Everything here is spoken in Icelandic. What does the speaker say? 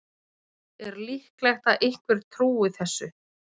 Er líklegt að einhver trúi þessu?